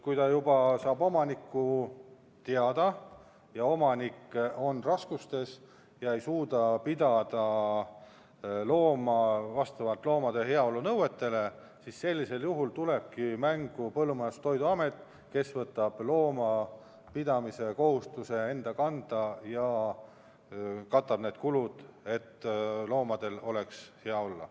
Kui omavalitsus saab omaniku teada ja omanik on raskustes ega suuda pidada looma vastavalt loomade heaolu nõuetele, siis tulebki mängu Põllumajandus- ja Toiduamet, kes võtab loomapidamise kohustuse enda kanda ja katab kulud, et loomal oleks hea olla.